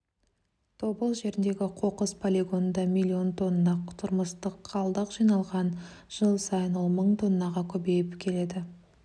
тобыл жеріндегі қоқыс полигонында миллион тонна тұрмыстық қалдық жиналған жыл сайын ол мың тоннаға көбейіп келеді